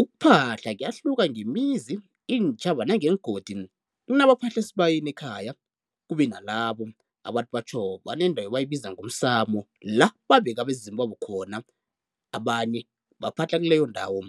Ukuphahla kuyahluka ngemizi, iintjhaba nangeengodi. Kunabaphahla esibayeni ekhaya, kube nalabo abathi batjho banendawo abayibiza ngomsamo, la babeka abezimu babo khona, abanye baphahla kileyo ndawo.